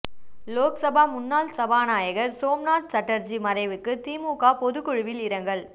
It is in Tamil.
லோக்சபா முன்னாள் சபாநாயகர் சோம்நாத் சட்டர்ஜி மறைவுக்கு திமுக பொதுக்குழுவில் இரங்கல்